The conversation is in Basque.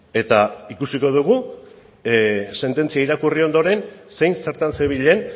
eta ikusiko dugu sententzia irakurri ondoren zein zertan zebilen